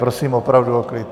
Prosím opravdu o klid.